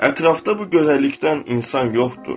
Ətrafda bu gözəllikdən insan yoxdur.